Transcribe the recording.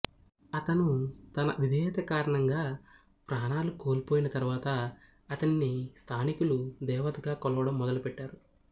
అతను తన విధేయత కారణంగా ప్రాణాలు కోల్పోయిన తరువాత అతనిని స్థానికులు దేవతగా కొలవడం మొదలు పెట్టారు